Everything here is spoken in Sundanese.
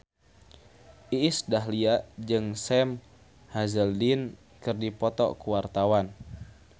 Iis Dahlia jeung Sam Hazeldine keur dipoto ku wartawan